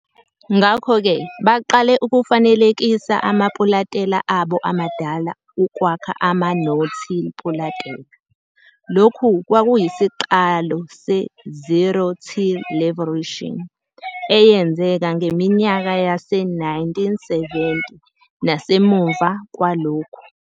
Ngakho-ke baqale ukufanelekisa amapulantela abo amadala ukwakha ama-'no-till'pulantela. Lokhu kwakuyisiqalo se-"Zero-till Revolution" eyenzeke ngeminyaka yase-1970 nasemuva kwalokhu.